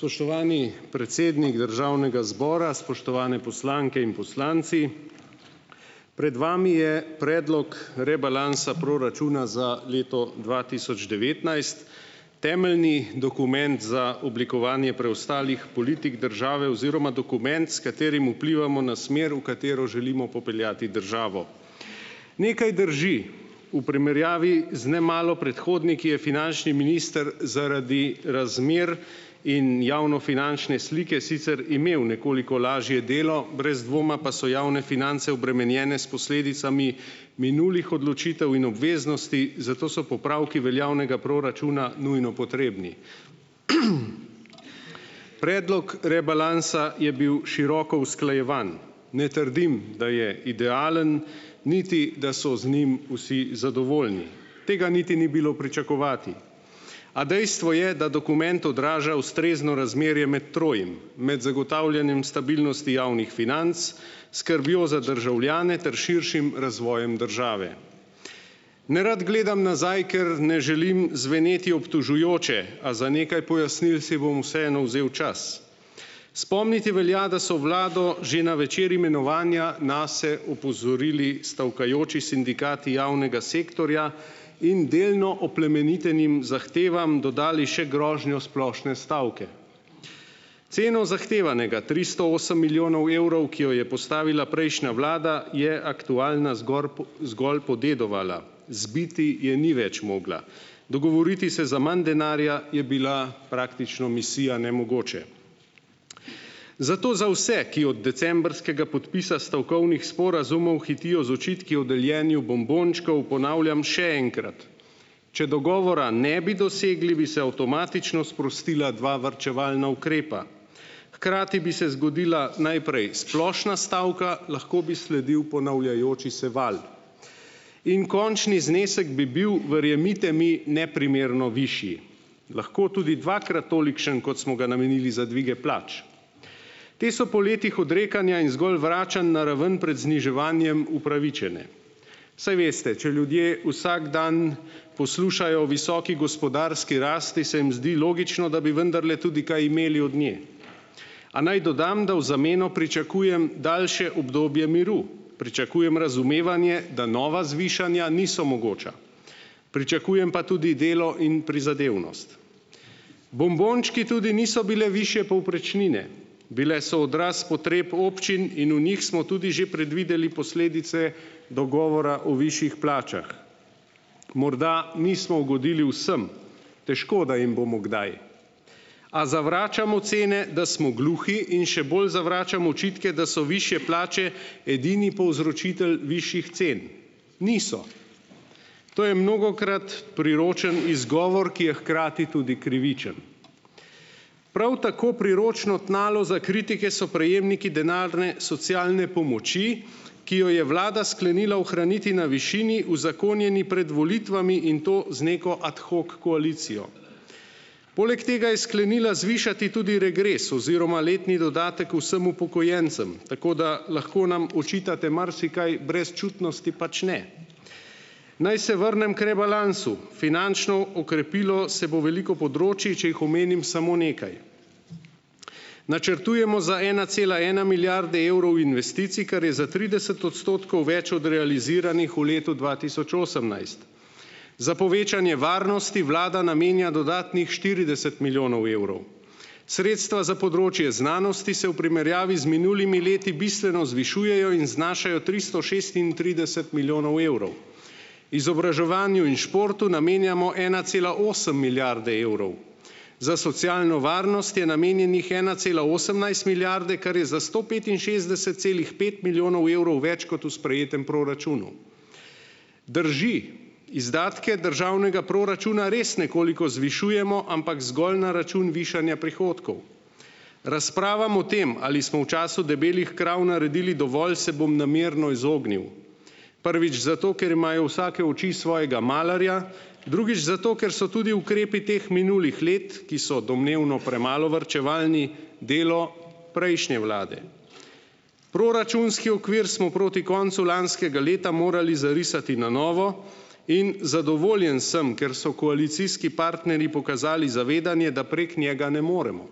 Spoštovani predsednik Državnega zbora, spoštovane poslanke in poslanci. Pred vami je predlog rebalansa proračuna za leto dva tisoč devetnajst. Temeljni dokument za oblikovanje preostalih politik države oziroma dokument, s katerim vplivamo na smer, v katero želimo popeljati državo. Nekaj drži, v primerjavi z nemalo predhodniki je finančni minister zaradi razmer in javnofinančne slike sicer imel nekoliko lažje delo, brez dvoma pa so javne finance obremenjene s posledicami minulih odločitev in obveznosti, zato so popravki veljavnega proračuna nujno potrebni. Predlog rebalansa je bil široko usklajevan. Ne trdim, da je idealen, niti da so z njim vsi zadovoljni. Tega niti ni bilo pričakovati. A dejstvo je, da dokument odraža ustrezno razmerje med trojim: med zagotavljanjem stabilnosti javnih financ, skrbjo za državljane ter širšim razvojem države. Nerad gledam nazaj, ker ne želim zveneti obtožujoče, a za nekaj pojasnil si bom vseeno vzel čas. Spomniti velja, da so vlado že na večer imenovanja nase opozorili stavkajoči sindikati javnega sektorja in delno oplemenitenim zahtevam dodali še grožnjo splošne stavke. Ceno zahtevanega tristo osem milijonov evrov, ki jo je postavila prejšnja vlada, je aktualna zgoraj zgolj podedovala, zbiti je ni več mogla. Dogovoriti se za manj denarja je bila praktično misija nemogoče. Zato za vse, ki od decembrskega podpisa stavkovnih sporazumov hitijo z očitki o deljenju bombončkov, ponavljam še enkrat, če dogovora ne bi dosegli, bi se avtomatično sprostila dva varčevalna ukrepa. Hkrati bi se zgodila najprej splošna stavka, lahko bi sledil ponavljajoči se val. In končni znesek bi bil, verjemite mi, neprimerno višji. Lahko tudi dvakrat tolikšen, kot smo ga namenili za dvige plač. Te so po letih odrekanja in zgolj vračanj na ravno pred zniževanjem upravičene. Saj veste, če ljudje vsak dan poslušajo o visoki gospodarski rasti, se jim zdi logično, da bi vendarle tudi kaj imeli od nje. A naj dodam, da v zameno pričakujem daljše obdobje miru. Pričakujem razumevanje, da nova zvišanja niso mogoča. Pričakujem pa tudi delo in prizadevnost. Bombončki tudi niso bile višje povprečnine. Bile so odraz potreb občin in v njih smo tudi že predvideli posledice dogovora o višjih plačah. Morda nismo ugodili vsem. Težko, da jim bomo kdaj. A zavračamo cene, da smo gluhi, in še bolj zavračam očitke, da so višje plače edini povzročitelj višjih cen. Niso. To je mnogokrat priročen izgovor , ki je hkrati tudi krivičen. Prav tako priročno tnalo za kritike so prejemniki denarne socialne pomoči, ki jo je vlada sklenila ohraniti na višini, uzakonjeni pred volitvami in to z neko ad hoc koalicijo. Poleg tega je sklenila zvišati tudi regres oziroma letni dodatek vsem upokojencem, tako da lahko nam očitate marsikaj, brezčutnosti pač ne. Naj se vrnem k rebalansu. Finančno okrepilo se bo veliko področij, če jih omenim samo nekaj. Načrtujemo za ena cela ena milijarde evrov investicij, kar je za trideset odstotkov več od realiziranih v letu dva tisoč osemnajst. Za povečanje varnosti vlada namenja dodatnih štirideset milijonov evrov. Sredstva za področje znanosti se v primerjavi z minulimi leti bistveno zvišujejo in znašajo tristo šestintrideset milijonov evrov. Izobraževanju in športu namenjamo ena cela osem milijarde evrov. Za socialno varnost je namenjenih ena cela osemnajst milijarde, kar je za sto petinšestdeset celih pet milijonov evrov več kot v sprejetem proračunu. Drži, izdatke državnega proračuna res nekoliko zvišujemo, ampak zgolj na račun višanja prihodkov. Razpravam o tem, ali smo v času debelih krav naredili dovolj, se bom namerno izognil. Prvič zato, ker imajo vsake oči svojega malarja, drugič zato, ker so tudi ukrepi teh minulih let, ki so domnevno premalo varčevalni, delo prejšnje vlade. Proračunski okvir smo proti koncu lanskega leta morali zarisati na novo in zadovoljen sem, ker so koalicijski partnerji pokazali zavedanje, da prek njega ne moremo.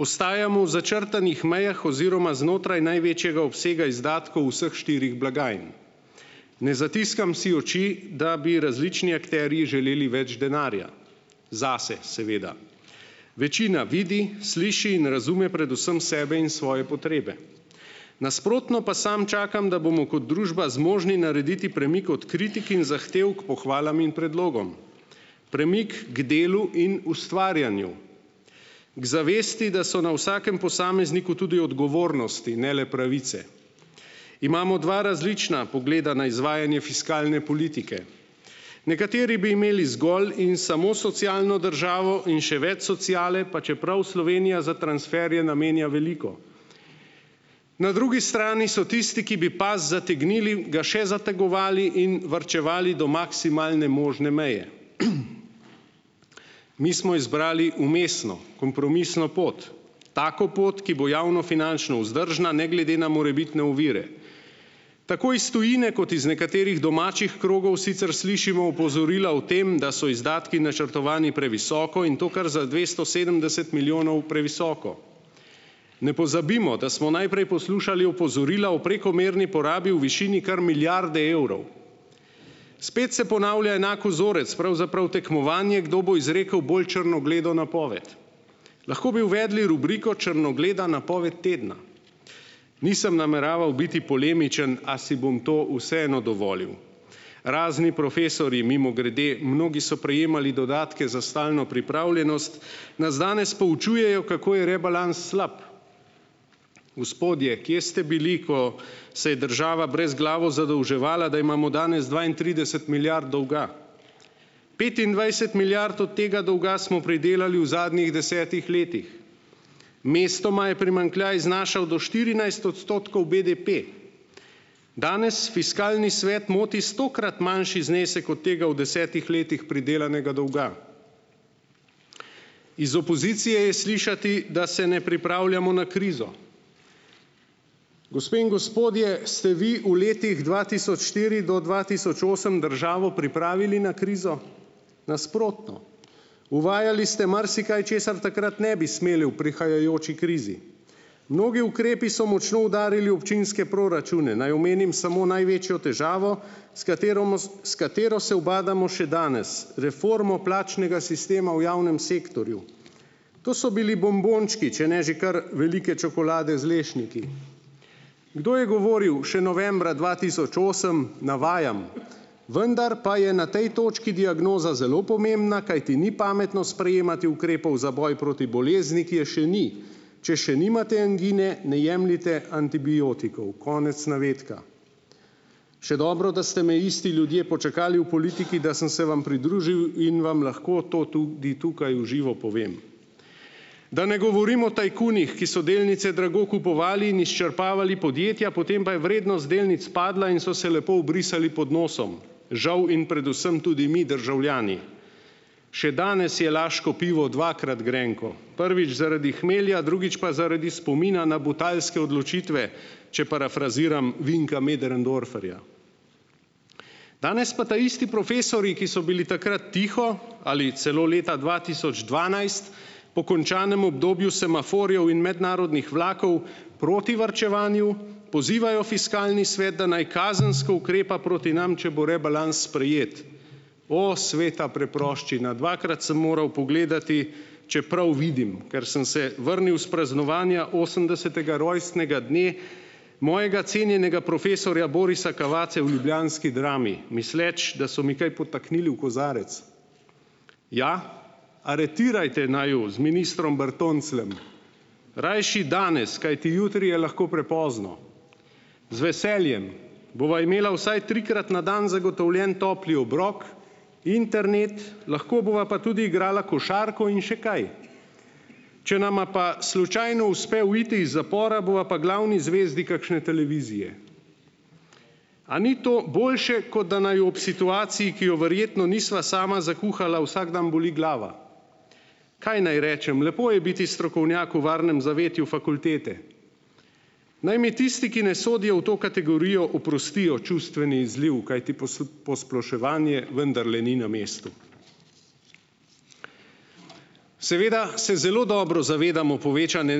Ostajamo v začrtanih mejah oziroma znotraj največjega obsega izdatkov vseh štirih blagajn. Ne zatiskam si oči, da bi različni akterji želeli več denarja. Zase, seveda. Večina vidi, sliši in razume predvsem sebe in svoje potrebe. Nasprotno pa samo čakam, da bomo kot družba zmožni narediti premik od kritik in zahtev k pohvalam in predlogom. Premik k delu in ustvarjanju. Ker zavesti, da so na vsakem posamezniku tudi odgovornosti, ne le pravice. Imamo dva različna pogleda na izvajanje fiskalne politike. Nekateri bi imeli zgolj in samo socialno državo in še več sociale, pa čeprav Slovenija za transferje namenja veliko. Na drugi strani so tisti, ki bi pas zategnili, ga še zategovali in varčevali do maksimalne možne meje. Mi smo izbrali vmesno, kompromisno pot. Tako pot, ki bo javno finančno vzdržna, ne glede na morebitne ovire. Tako iz tujine kot iz nekaterih domačih krogov sicer slišimo opozorila o tem, da so izdatki načrtovani previsoko, in to kar za dvesto sedemdeset milijonov previsoko. Ne pozabimo, da smo najprej poslušali opozorila o prekomerni porabi v višini kar milijarde evrov. Spet se ponavlja enak vzorec, pravzaprav tekmovanje, kdo bo izrekel bolj črnogledo napoved. Lahko bi uvedli rubriko črnogleda napoved tedna. Nisem nameraval biti polemičen, a si bom to vseeno dovolil. Razni profesorji, mimogrede, mnogi so prejemali dodatke za stalno pripravljenost, nas danes poučujejo, kako je rebalans slab. Gospodje, kje ste bili, ko se je država brezglavo zadolževala, da imamo danes dvaintrideset milijard dolga? Petindvajset milijard od tega dolga smo pridelali v zadnjih desetih letih. Mestoma je primanjkljaj znašal do štirinajst odstotkov BDP. Danes fiskalni svet moti stokrat manjši znesek od tega v desetih letih pridelanega dolga. Iz opozicije je slišati, da se ne pripravljamo na krizo. Gospe in gospodje, ste vi v letih dva tisoč štiri do dva tisoč osem državo pripravili na krizo? Nasprotno. Uvajali ste marsikaj, česar takrat ne bi smeli v prihajajoči krizi. Mnogi ukrepi so močno udarili občinske proračune. Naj omenim samo največjo težavo, s s katero se ubadamo še danes - reformo plačnega sistema v javnem sektorju. To so bili bombončki, če ne že kar velike čokolade z lešniki. Kdo je govoril še novembra dva tisoč osem, navajam: "Vendar pa je na tej točki diagnoza zelo pomembna, kajti ni pametno sprejemati ukrepov za boj proti bolezni, ki je še ni. Če še nimate angine, ne jemljite antibiotikov." Konec navedka. Še dobro, da ste me isti ljudje počakali v politiki , da sem se vam pridružil in vam lahko to tudi tukaj v živo povem. Da ne govorim o tajkunih, ki so delnice drago kupovali in izčrpavali podjetja, potem pa je vrednost delnic padla in so se lepo obrisali pod nosom. Žal in predvsem tudi mi državljani. Še danes je laško pivo dvakrat grenko. Prvič zaradi hmelja, drugič pa zaradi spomina na butalske odločitve. Če parafraziram Vinka Möderndorferja. Danes pa taisti profesorji, ki so bili takrat tiho, ali celo leta dva tisoč dvanajst, po končanem obdobju semaforjev in mednarodnih vlakov, proti varčevanju, pozivajo fiskalni svet, da naj kazensko ukrepa proti nam, če bo rebalans sprejet. O sveta preproščina, dvakrat sem moral pogledati, če prav vidim, ker sem se vrnil s praznovanja osemdesetega rojstnega dne mojega cenjenega profesorja Borisa Cavazze v ljubljanski Drami, misleč, da so mi kaj podtaknili v kozarec. Ja, aretirajte naju z ministrom Bertoncljem. Rajši danes, kajti jutri je lahko prepozno. Z veseljem. Bova imela vsaj trikrat na dan zagotovljen topli obrok, internet, lahko bova pa tudi igrala košarko in še kaj. Če nama pa slučajno uspe uiti iz zapora, bova pa glavni zvezdi kakšne televizije. A ni to boljše, kot da naju ob situaciji, ki jo verjetno nisva sama zakuhala, vsak dan boli glava? Kaj naj rečem, lepo je biti strokovnjak v varnem zavetju fakultete. Naj mi tisti, ki ne sodijo v to kategorijo, oprostijo čustveni izliv, kajti posploševanje vendarle ni na mestu. Seveda se zelo dobro zavedamo povečanje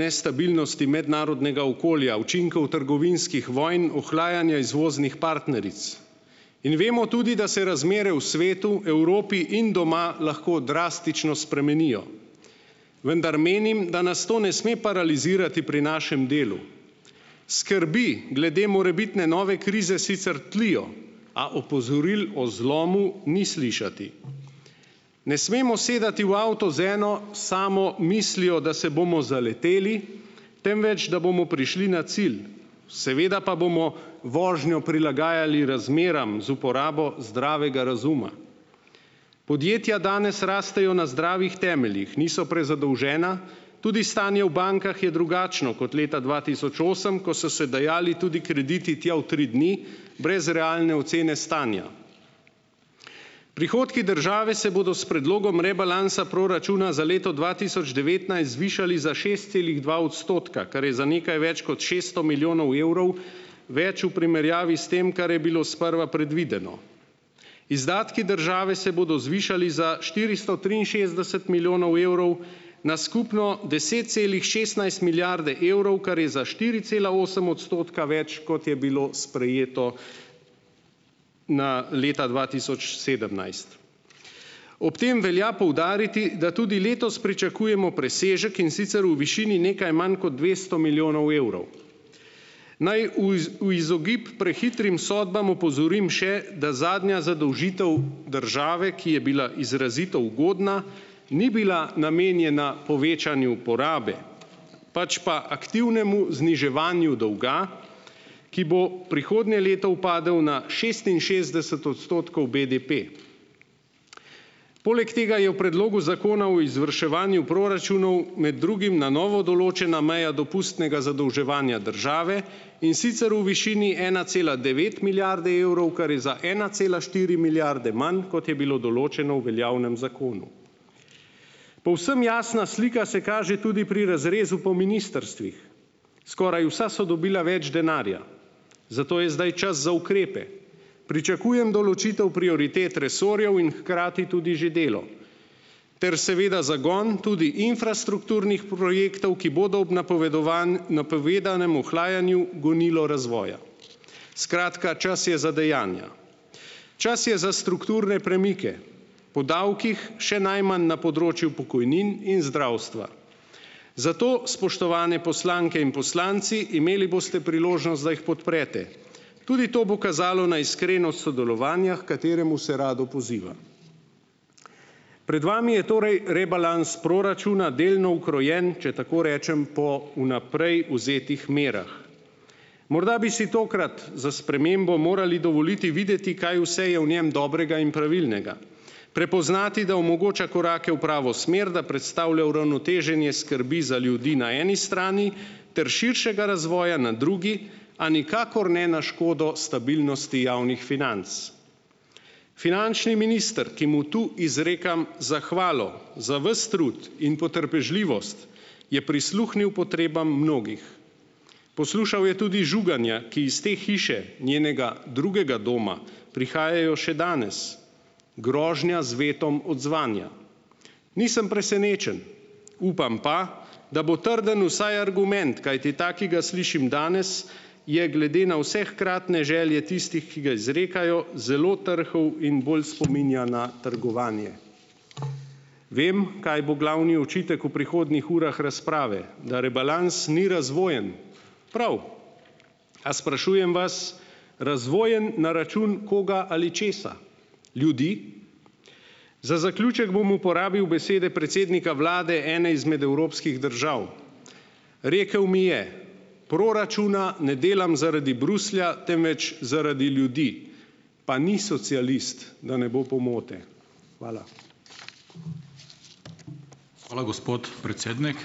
nestabilnosti mednarodnega okolja, učinkov trgovinskih vonj, ohlajanja izvoznih partneric. In vemo tudi, da se razmere v svetu, Evropi in doma lahko drastično spremenijo. Vendar menim, da nas to ne sme paralizirati pri našem delu. Skrbi glede morebitne nove krize sicer tlijo, a opozoril o zlomu ni slišati. Ne smemo sedati v avto z eno samo mislijo, da se bomo zaleteli, temveč, da bomo prišli na cilj. Seveda pa bomo vožnjo prilagajali razmeram z uporabo zdravega razuma. Podjetja danes rastejo na zdravih temeljih, niso prezadolžena, tudi stanje v bankah je drugačno kot leta dva tisoč osem, ko so se dajali tudi krediti tja v tri dni, brez realne ocene stanja. Prihodki države se bodo s predlogom rebalansa proračuna za leto dva tisoč devetnajst zvišali za šest celih dva odstotka, kar je za nekaj več kot šeststo milijonov evrov več v primerjavi s tem, kar je bilo sprva predvideno. Izdatki države se bodo zvišali za štiristo triinšestdeset milijonov evrov na skupno deset celih šestnajst milijarde evrov, kar je za štiri cela osem odstotka več, kot je bilo sprejeto na leta dva tisoč sedemnajst. Ob tem velja poudariti, da tudi letos pričakujemo presežek, in sicer v višini nekaj manj kot dvesto milijonov evrov. Naj v izogib prehitrim sodbam opozorim še, da zadnja zadolžitev države, ki je bila izrazito ugodna, ni bila namenjena povečanju porabe, pač pa aktivnemu zniževanju dolga, ki bo prihodnje leto upadel na šestinšestdeset odstotkov BDP. Poleg tega je v predlogu Zakona o izvrševanju proračunov med drugim na novo določena meja dopustnega zadolževanja države, in sicer v višini ena cela devet milijarde evrov, kar je za ena cela štiri milijarde manj, kot je bilo določeno v veljavnem zakonu. Povsem jasna slika se kaže tudi pri razrezu po ministrstvih. Skoraj vsa so dobila več denarja. Zato je zdaj čas za ukrepe. Pričakujem določitev prioritet resorjev in hkrati tudi že delo ter seveda zagon tudi infrastrukturnih projektov, ki bodo ob napovedanem ohlajanju gonilo razvoja. Skratka, čas je za dejanja. Čas je za strukturne premike. O davkih še najmanj na področju pokojnin in zdravstva. Zato, spoštovane poslanke in poslanci, imeli boste priložnost, da jih podprete. Tudi to bo kazalo na iskrenost sodelovanja, h kateremu se rado poziva. Pred vami je torej rebalans proračuna, delno ukrojen, če tako rečem, po vnaprej vzetih merah. Morda bi si tokrat za spremembo morali dovoliti videti, kaj vse je v njem dobrega in pravilnega. Prepoznati, da omogoča korake v pravo smer, da predstavlja uravnoteženje skrbi za ljudi na eni strani ter širšega razvoja na drugi, a nikakor ne na škodo stabilnosti javnih financ. Finančni minister, ki mu tu izrekam zahvalo, za ves trud in potrpežljivost, je prisluhnil potrebam mnogih. Poslušal je tudi žuganja, ki iz te hiše, njenega drugega doma, prihajajo še danes, grožnja z vetom odzvanja. Nisem presenečen. Upam pa, da bo trden vsaj argument, kajti ta, ki ga slišim danes, je glede na vse hkratne želje tistih, ki ga izrekajo, zelo trhel in bolj spominja na trgovanje . Vem, kaj bo glavni očitek v prihodnjih urah razprave, da rebalans ni razvojen. Prav. A sprašujem vas, razvojen na račun koga ali česa? Ljudi? Za zaključek bom uporabil besede predsednika vlade ene izmed evropskih držav. Rekel mi je: "Proračuna ne delam zaradi Bruslja, temveč zaradi ljudi." Pa ni socialist, da ne bo pomote. Hvala. Hvala, gospod predsednik.